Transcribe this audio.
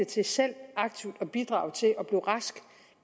til selv aktivt at bidrage til at blive rask